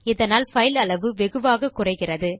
இதனால் பைல் அளவு வெகுவாக குறைகிறது